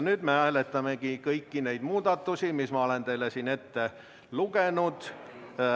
Nüüd me hääletamegi kõiki neid muudatusi, mis ma olen teile siin ette lugenud.